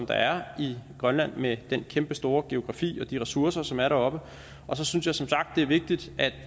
der er i grønland med den kæmpestore geografi og de ressourcer som er deroppe og så synes jeg som sagt det er vigtigt at